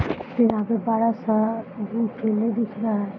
यहाँ पे बरा सा दिख रहे हैं।